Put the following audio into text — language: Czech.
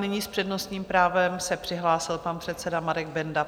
Nyní s přednostním právem se přihlásil pan předseda Marek Benda.